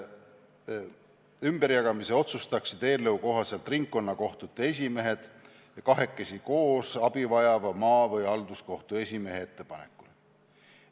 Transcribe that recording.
Ümberjagamise otsustaksid eelnõu kohaselt ringkonnakohtute esimehed, kes teeksid seda kahekesi koos abi vajava maa- või halduskohtu esimehe ettepanekul.